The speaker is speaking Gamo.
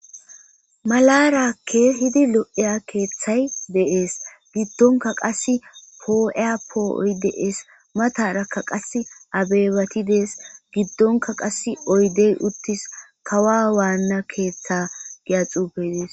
Malara kehidi lo'iya keeththay dees. Giddonka qas poo'iya poo'oy dees. Matarakka qas abebati deetes. Giddonka qas oydey uttis. Kawa waanna keeththe giya xuufey dees.